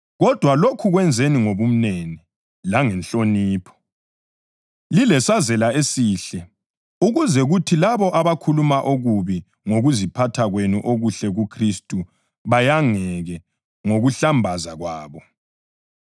Kodwa lokhu kwenzeni ngobumnene langenhlonipho, lilesazela esihle, ukuze kuthi labo abakhuluma okubi ngokuziphatha kwenu okuhle kuKhristu bayangeke ngokuhlambaza kwabo.